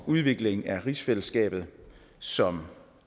udvikling af rigsfællesskabet som